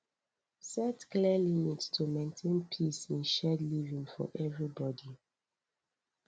set clear limits to maintain peace in shared living for everybody